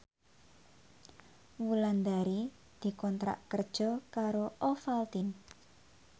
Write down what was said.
Wulandari dikontrak kerja karo Ovaltine